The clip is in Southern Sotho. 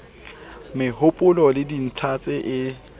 mehopolo le dintlha tse e